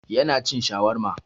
Yana cin shawarma.